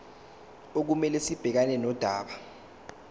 okumele sibhekane nodaba